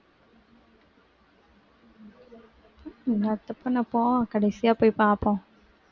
பண்ண இப்போ கடைசியா போய் பார்ப்போம்